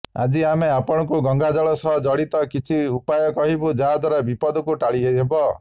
ଆଜି ଆମେ ଆପଣଙ୍କୁ ଗଙ୍ଗାଜଳ ସହ ଜଡ଼ିତ କିଛି ଉପାୟ କହିବୁ ଯଦ୍ଦ୍ବାରା ବିପଦକୁ ଟାଳିହେବ